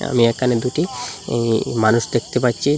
আমি এখানে দুটি ই মানুষ দেখতে পাচ্ছি।